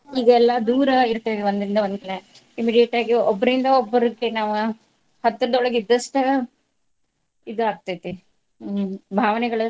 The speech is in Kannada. ಈಗೆಲ್ಲಾ ದೂರಾ ಇರ್ತೇವಿ ಒಂದ್ರಿಂದ ಒಂದ್ Immediate ಆಗಿ ಒಬ್ಬರಿಂದ ಒಬ್ಬರ್ಗೆ ನಾವ್ ಹತ್ತರದೊಳಗ್ ಇದ್ದಷ್ಟ ಇದ್ ಆಗ್ತೇತಿ. ಹ್ಮ್ ಭಾವನೆಗಳ್.